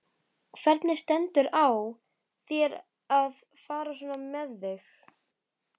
Hvernig stendur á þér að fara svona með þig?